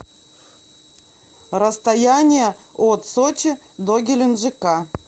расстояние от сочи до геленджика